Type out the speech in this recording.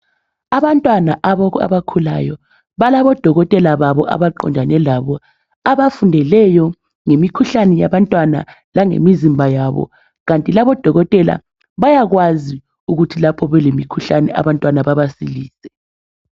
Abantwana abakhulayo balabodokotela babo abaqondane labo abafundeleyo ngemikhuhlane yabantwana langemizimba yabo. Kanti labodokotela bayakwazi ukuthi lapho belemikhuhlane abantwana babasilise.